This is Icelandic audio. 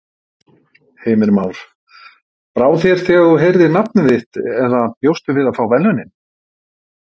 Heimir Már: Brá þér þegar þú heyrðir nafnið þitt eða bjóstu við að fá verðlaunin?